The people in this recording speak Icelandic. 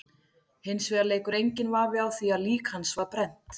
Hins vegar leikur enginn vafi á því að lík hans var brennt.